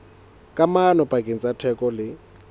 kamano pakeng tsa theko le